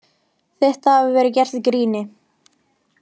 Þetta hafi verið gert í gríni